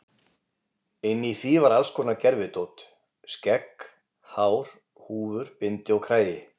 Inni í því var alls konar gervidót, skegg, hár, húfur, bindi og kragi.